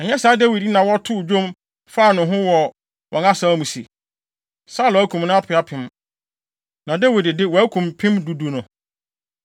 Ɛnyɛ saa Dawid yi na wɔtoo dwom faa ne ho wɔ wɔn asaw mu se: “Saulo akum ne apem apem na Dawid de, wakum mpem du du no?”